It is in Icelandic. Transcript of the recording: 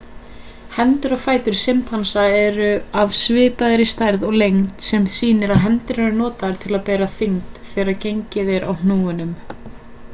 hendur og fætur simpansa eru af svipaðri stærð og lengd sem sýnir að hendur eru notaðar til að bera þyngd þegar gengið er á hnúunum